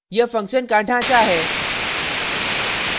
यह function का ढाँचा है